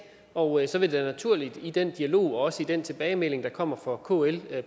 og så vil det naturligt i den dialog og også i den tilbagemelding der kommer fra kl